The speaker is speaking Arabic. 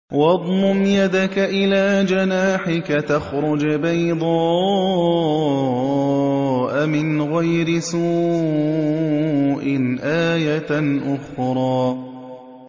وَاضْمُمْ يَدَكَ إِلَىٰ جَنَاحِكَ تَخْرُجْ بَيْضَاءَ مِنْ غَيْرِ سُوءٍ آيَةً أُخْرَىٰ